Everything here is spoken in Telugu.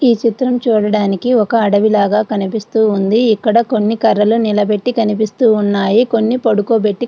ఈ చిత్రం చూడడానికి ఒక అడవి లాగా కనిపిస్తుంది. ఇక్కడ కొన్ని కర్రలు నిలబెట్టి కనిపిస్తున్నాయి. కొన్ని పడుకోబెట్టి --